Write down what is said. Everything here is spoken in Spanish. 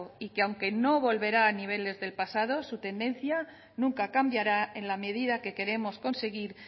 y que aunque no volverá a niveles del pasado su tendencia nunca cambiará en la medida que queremos conseguir